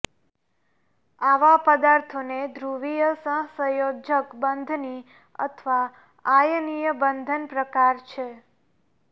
આવા પદાર્થોને ધ્રુવીય સહસંયોજક બંધની અથવા આયનીય બંધન પ્રકાર છે